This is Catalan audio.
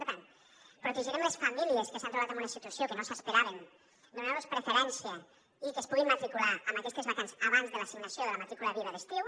per tant protegirem les famílies que s’han trobat en una situació que no s’esperaven donant los preferència i que es puguin matricular en aquestes vacants abans de l’assignació de la matrícula viva d’estiu